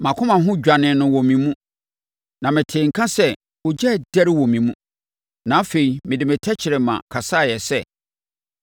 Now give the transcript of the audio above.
Mʼakoma ho dwanee no wɔ me mu na metee nka sɛ ogya redɛre wɔ me mu na afei mede me tɛkrɛma kasaeɛ sɛ: